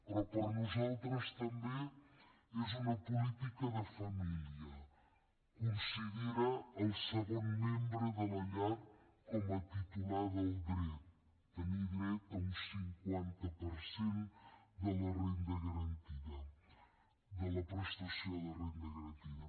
però per nosaltres també és una política de família considera el segon membre de la llar com a titular del dret tenir dret a un cinquanta per cent de la prestació de renda garantida